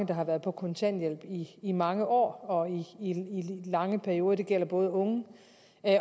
der har været på kontanthjælp i i mange år og i lange perioder det gælder både unge